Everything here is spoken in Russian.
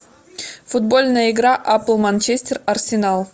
футбольная игра апл манчестер арсенал